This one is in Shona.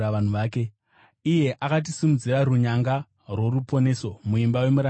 Akatisimudzira runyanga rworuponeso muimba yomuranda wake Dhavhidhi,